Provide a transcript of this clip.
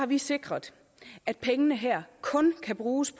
vi sikret at pengene her kun kan bruges